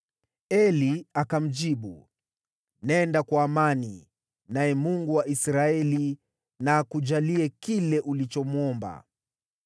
Eli akamjibu, “Nenda kwa amani, naye Mungu wa Israeli na akujalie kile ulichomwomba.”